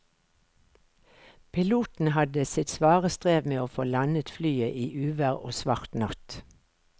Piloten hadde sitt svare strev med å få landet flyet i uvær og svart natt.